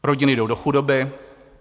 Rodiny jdou do chudoby.